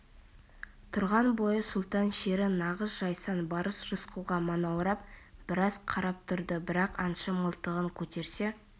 тұрған бойы сұлтан шері нағыз жайсаң барыс рысқұлға манаурап біраз қарап тұрды бірақ аңшы мылтығын көтерсе